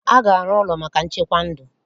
A ga-arụ ụlọ maka nchekwa ndụ